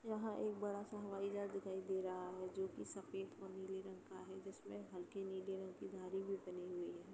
यहाँ एक बड़ा हवाई जहाज दिखाई दे रहा है जो कि सफेद व नीले रंग का है। जिसमे हल्के नीले रंग की धारी भी बनी हुई है।